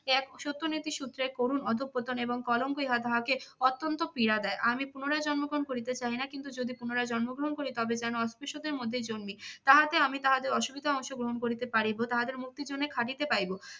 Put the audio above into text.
ত্যাগ ও সত্য নীতির সূত্রের করুণ অধঃপতন এবং কলঙ্ক ইহার অত্যন্ত পীড়া দেয়। আমি পুনরায় জন্মগ্রহণ করিতে চাহি না কিন্তু যদি পুনরায় জন্মগ্রহণ করি তবে যেন অস্পৃশ্যদের মধ্যেই জন্মি। তাহাতে আমি তাদের অসুবিধায় অংশগ্রহণ করিতে পারিব, তাহাদের মুক্তির জন্য কাঁদিতে পাইব।